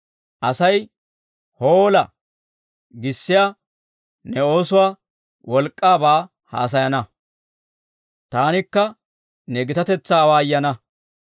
Asay, «Hoola!» giissiyaa ne oosuwaa wolk'k'aabaa haasayana; taanikka ne gitatetsaa awaayana.